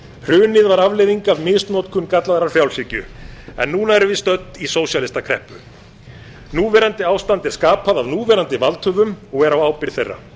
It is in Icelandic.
hrunið var afleiðing af misnotkun gallaðrar frjálshyggju en núna erum við stödd í sósíalistakreppu núverandi ástand er skapað af núverandi valdhöfum og er á ábyrgð þeirra